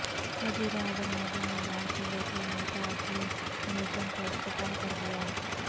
وزیر اعظم مودی نے لال قلعہ میں نیتا جی میوزیم کا افتتاح کردیا